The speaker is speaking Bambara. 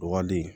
Dɔgɔden